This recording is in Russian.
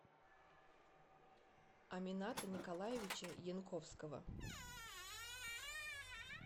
амината николаевича янковского